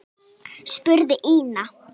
spurði Ína.